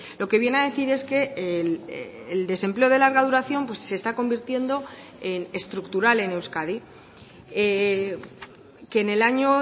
lo que viene a decir es que el desempleo de larga duración se está convirtiendo en estructural en euskadi que en el año